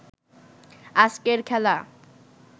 আজকের খেলা